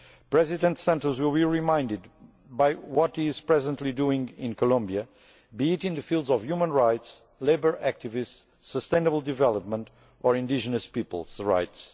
President Santos will be remembered for what he is presently doing in Colombia, be it in the fields of human rights, labour activists, sustainable development or indigenous peoples' rights.